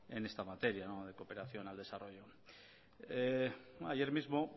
en esta materia en la cooperación al desarrollo ayer mismo